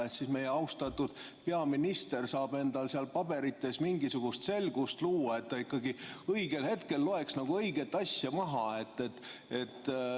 Siis saab meie austatud peaminister enda paberites mingisugust selgust luua, et ta ikkagi õigel hetkel loeks õige asja maha.